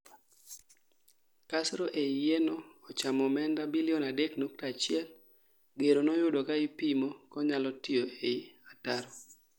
kasro ei yie no ochamo omenda bilion 3.1 gero noyudo kaa ipomo konyalo tiyo ei ataro